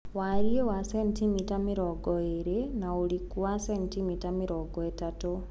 warie wa centimita mĩrongoĩrĩ na ũrikũ wa centimita mĩrongo ĩtatu